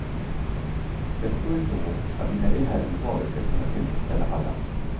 Jag tror ändå att vi med det här urvalet ska kunna tillfredsställa alla.